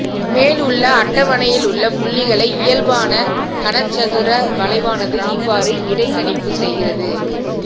மேலுள்ள அட்டவணையிலுள்ள புள்ளிகளை இயல்பான கனச்சதுர வளைவானது இவ்வாறு இடைக்கணிப்பு செய்கிறது